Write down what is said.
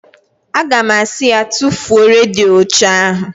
Aga m asị ya, tufuo redio ochie ahụ!